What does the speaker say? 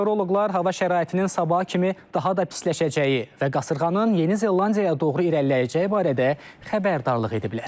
Meteoroloqlar hava şəraitinin sabaha kimi daha da pisləşəcəyi və qasırğanın Yeni Zelandiyaya doğru irəliləyəcəyi barədə xəbərdarlıq ediblər.